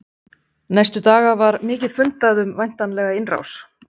Næstu daga var mikið fundað um væntanlega innrás.